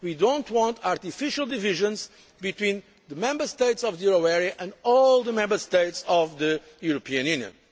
We do not want artificial divisions between the Member States of the euro area and all the other Member States of the European Union.